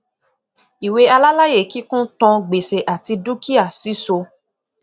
ìwé alálàyékíkún tàn gbèsè àti dúkìá síso